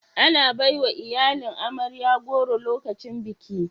Ana baiwa iyalin amarya goro lokacin biki